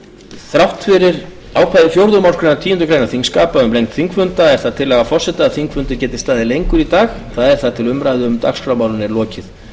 þrátt fyrir ákvæði fjórðu málsgreinar tíundu greinar þingskapa um lengd þingfunda er það tillaga forseta að þingfundur geti staðið lengur í dag eða þar til umræðu um dagskrármálin er lokið